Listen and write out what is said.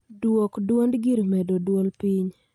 Dwok dwond gir medo dwol piny